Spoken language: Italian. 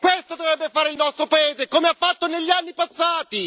Questo dovrebbe fare il nostro paese, come ha fatto negli anni passati!